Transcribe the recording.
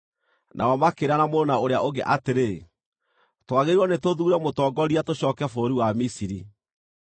Nao makĩĩrana mũndũ na ũrĩa ũngĩ atĩrĩ, “Twagĩrĩirwo nĩ tũthuure mũtongoria tũcooke bũrũri wa Misiri.”